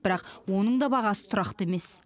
бірақ оның да бағасы тұрақты емес